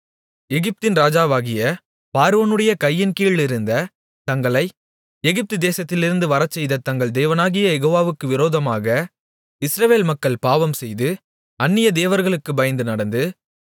எகிப்தின் ராஜாவாகிய பார்வோனுடைய கையின்கீழிருந்த தங்களை எகிப்து தேசத்திலிருந்து வரச்செய்த தங்கள் தேவனாகிய யெகோவாவுக்கு விரோதமாக இஸ்ரவேல் மக்கள் பாவம்செய்து அந்நிய தேவர்களுக்குப் பயந்து நடந்து